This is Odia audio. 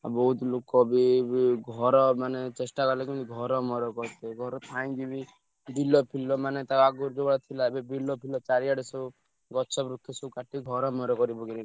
ଆଉ ବହୁତ ଲୋକ ବି ଏଇ ଘର ମାନେ ଚେଷ୍ଟା କଲେ କେମିତି ଘର ମର କରିତେ ଘର ଥାଇକିବି ବିଲ ଫିଲ ମାନେ ତା ଆଗୁରୁ ଯୋଉଭଳିଆ ଥିଲା ଏବେ ବିଲ ଫିଲ ଚାରିଆଡେ ସବୁ ଗଛ ବୃକ୍ଷ ସବୁ କାଟି ଘର ମର କରିପକେଇଲେଣି।